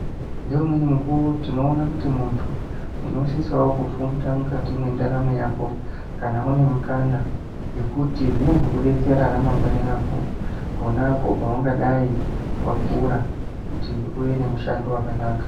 Ngeumweni nguwa tinoona kuti muntu unosisawo kufunda mukati mendaramo yako kana une mukana ngekuti zvinozokubetsera ramangwani rako ponapo paungadai wakura kuti uve nemushando wakanaka.